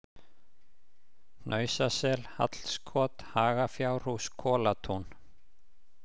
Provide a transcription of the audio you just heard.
Hnausasel, Hallskot, Hagafjárhús, Kotatún